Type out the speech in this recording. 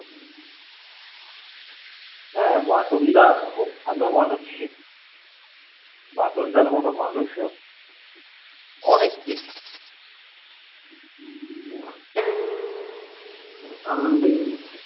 হা বাটুল দা খুব ভালো মানুষ ছিল বাটুল দার মতো মানুষ অনেক কিছু আমি